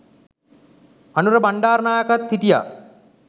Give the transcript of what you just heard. අනුර බණ්ඩාරනායකත් හිටියා.